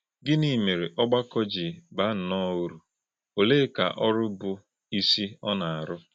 Gị́nị̄ mèrè̄ ọ̀gbàkọ̄ jì̄ bà̄ nnọọ̄ ùrù̄, ọ̀lè̄èkà̄ ọ̀rụ̀ bụ́ ìsì̄ ọ́ na - àrụ́̄?